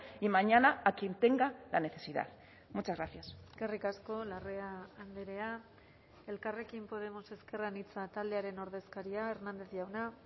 y mañana a quien tenga la necesidad muchas gracias eskerrik asko larrea andrea elkarrekin podemos ezker anitza taldearen ordezkaria hernández jauna